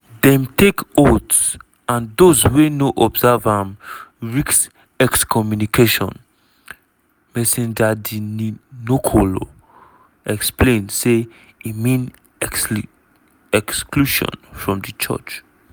"dem take oath and those wey no observe am risk ex-communication" msgr de nicolo explain say e mean exclusion from di church.